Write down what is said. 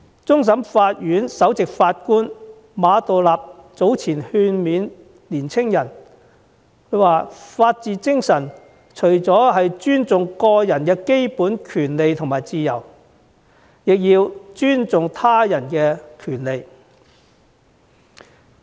終審法院首席法官馬道立早前勸勉青年人，他說法治精神除了包含尊重個人基本權利和自由，也包括尊重他人的權利。